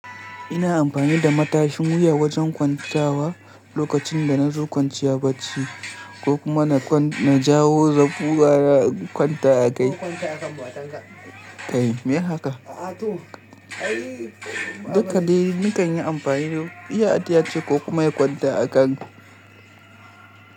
Ina amfani da matashin wuya wajen kwanta wa lokacin da na zo kwanciya barci ko kuma na na jawo in kwanta a kai. Kai me haka? Dakali nikan yi amfani da iya adiyace ko kuma ya kwanta a kanku.